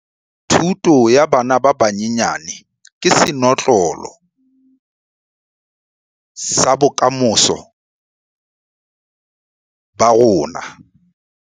Thuto ya bana ba banyenyane ke senotlolo sa bokamoso ba rona.